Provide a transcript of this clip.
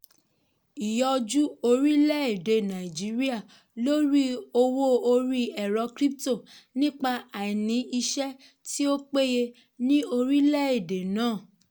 ìyọjú orilẹ-ède nàìjíríà lórí owó orí ẹ̀rọ crypto nípa àìní iṣẹ́ tí ó péye ní orilẹ-ède náà.